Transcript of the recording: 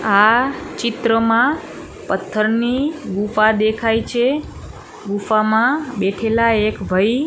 આ ચિત્રમાં પથ્થરની ગુફા દેખાય છે ગુફામાં બેઠેલા એક ભાઈ--